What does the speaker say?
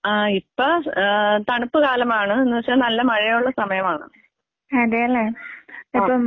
ആഹ് ഇപ്പെ ആഹ് തണുപ്പ് കാലമാണ്, എന്നുവച്ച നല്ല മഴയുള്ള സമയമാണ്. ആഹ്.